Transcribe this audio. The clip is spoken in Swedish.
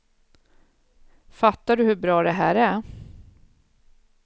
Fattar du hur bra det här är.